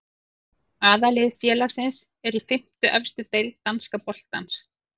Aðallið félagsins er í fimmtu efstu deild danska boltans.